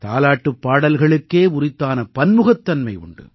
தாலாட்டுப் பாடல்களுக்கே உரித்தான பன்முகத்தன்மை உண்டு